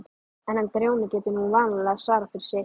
En hann Grjóni getur nú vanalega svarað fyrir sitt, sagði